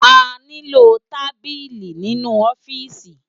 Àniló tábili ninu òfìsí